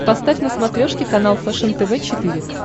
поставь на смотрешке канал фэшен тв четыре к